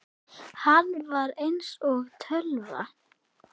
Hann var eins og tölva.